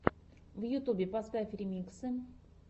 на ютубе поставь ремиксы